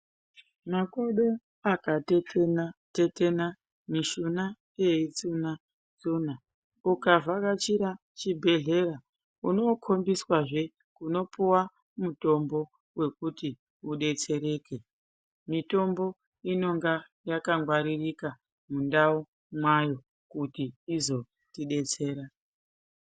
Makodo akatetena tetena mishuna yeitsuna tsuna uka vhakachira chibhedhlera unoo kombiswazve unopuwa mutombo wekuti udetsereke mitombo inonga yaka ngwaririka mundau mayo kuti izotidetsera .